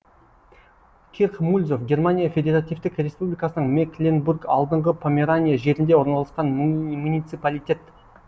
кирх мульзов германия федеративтік республикасының мекленбург алдыңғы померания жерінде орналасқан муниципалитет